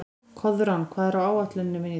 Koðrán, hvað er á áætluninni minni í dag?